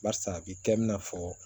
Barisa a bi kɛ i n'a fɔ